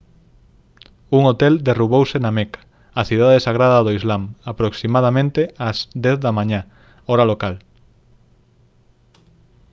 un hotel derrubouse na meca a cidade sagrada do islam aproximadamente ás 10 da mañá hora local